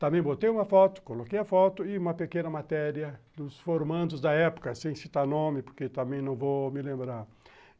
Também botei uma foto, coloquei a foto e uma pequena matéria dos formandos da época, sem citar nome, porque também não vou me lembrar.